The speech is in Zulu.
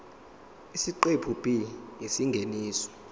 isiqephu b isingeniso